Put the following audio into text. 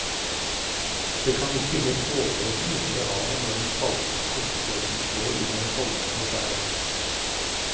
Det kan virke helt overveldende ute ved havet når den salte skumsprøyten slår innover holmer og skjær.